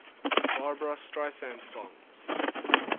barbra streisand songs